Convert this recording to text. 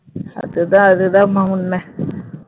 அதுதான் அதுதான்மா உண்மை